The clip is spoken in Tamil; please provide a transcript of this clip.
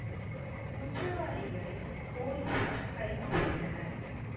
குற்றவாளிகளை போலீசார் கைது செய்தனர்